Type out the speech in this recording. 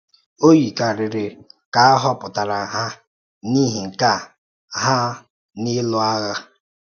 Ọ yikarịrị ka à họpụtara ha n’ihi nkà ha n’ịlụ ághà.